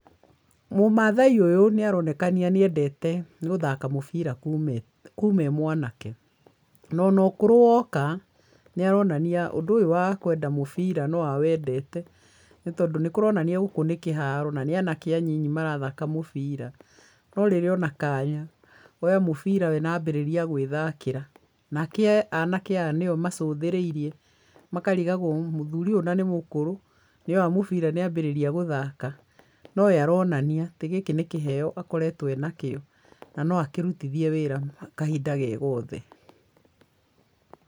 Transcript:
Mũmathai ũyũ nĩaronekania nĩendete gũthaka mũbira kuma e mwanake, nono ũkũrũ woka nĩaronania ũndũ ũyũ wa kwenda mũbira no awendete tondũ nĩ kũronania gũkũ nĩ kĩharo na nĩ anake a nini marathaka mũbira, no rĩrĩa ona kanya oya mũbira we na ambĩrĩria gwĩthakĩra, na ke anake aya nĩwe macũthĩrĩirie makarigagwo mũthũri ũyũ na nĩ mũkũrũ nĩ oya mũbira nĩambĩrĩria gũthaka, no we aronania ati gĩkĩ nĩ kĩheyo akoretwo e nakĩo na no akĩrutithie wĩra kahinda ge gothe.